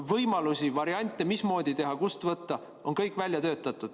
Võimalused, variandid, mismoodi teha ja kust võtta, on kõik välja töötatud.